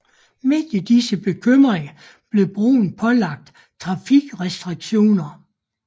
Midt i disse bekymringer blev broen pålagt trafikrestriktioner